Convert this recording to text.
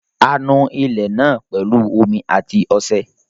A nu ilẹ̀ náà pẹ̀lú omí àti ọṣẹ.